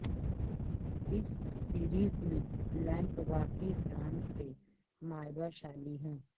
اس series میں lamp واقعی brand سے مائباشالی ہیں